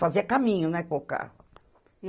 Fazia caminho, né, com o carro.